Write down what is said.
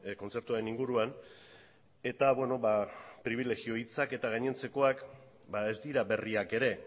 kontzertuaren inguruan eta beno pribilegio hitzak eta gainontzekoak ez dira berriak ere